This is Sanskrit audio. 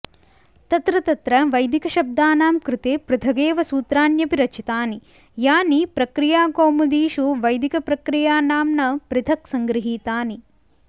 तत्र तत्र वैदिकशब्दानां कृते पृथगेव सूत्राण्यपि रचितानि यानि प्रक्रियाकौमुदीषु वैदिकप्रक्रिया नाम्ना पृथक् सङ्गृहीतानि